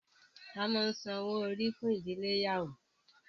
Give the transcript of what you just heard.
À máa ńsan owo-ori fun idile iyawo.